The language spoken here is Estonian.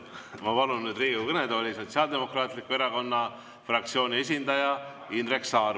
Ma palun nüüd Riigikogu kõnetooli Sotsiaaldemokraatliku Erakonna fraktsiooni esindaja Indrek Saare.